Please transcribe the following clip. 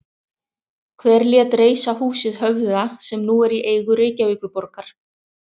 Hver lét reisa húsið Höfða sem nú er í eigu Reykjavíkurborgar?